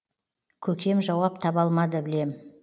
көкем жауап таба алмады білем